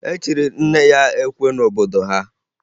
E chiri nne ya ekwe n'obodo ha